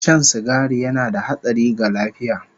Shan sigari yana da hatsari ga lafiya